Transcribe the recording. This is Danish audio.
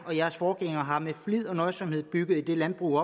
og jeres forgængere har med flid og nøjsomhed bygget det landbrug